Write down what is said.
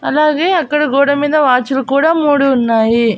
అలాగే అక్కడ గోడమీద వాచ్ లు కూడా మూడు ఉన్నాయి.